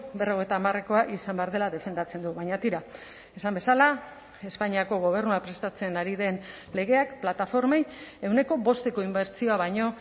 berrogeita hamarekoa izan behar dela defendatzen du baina tira esan bezala espainiako gobernua prestatzen ari den legeak plataformei ehuneko bosteko inbertsioa baino